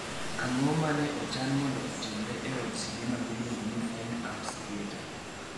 Ang'o ma ne ochan mondo otimre e od sinema miluongo ni Fine Arts Theater?